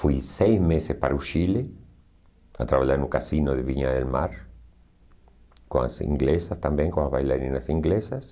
Fui seis meses para o Chile, a trabalhar no cassino de Viña del Mar, com as inglesas também, com as bailarinas inglesas.